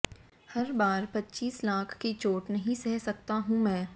हर बार पच्चीस लाख की चोट नहीं सह सकता हूं मैं